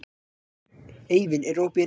Eivin, er opið í Nettó?